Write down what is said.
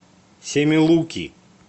семилуки